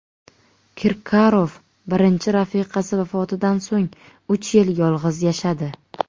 Kirkorov birinchi rafiqasi vafotidan so‘ng uch yil yolg‘iz yashadi.